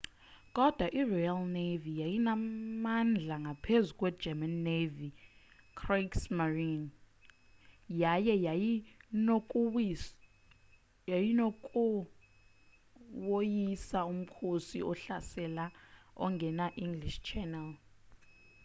kodwa iroyal navy yayinamandla ngaphezu kwegerman navy kriegsmarine” yaye yayinokuwoyisa umkhosi ohlaselayo ongena nge-english channel